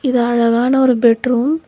இது அழகான ஒரு பெட் ரூம்